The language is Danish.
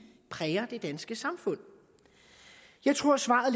præger det danske samfund jeg tror at svaret